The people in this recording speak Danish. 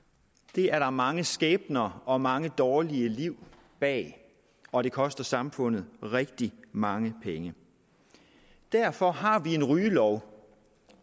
det er der mange skæbner og mange dårlige liv bag og det koster samfundet rigtig mange penge derfor har vi en rygelov